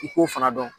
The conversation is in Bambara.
I k'o fana dɔn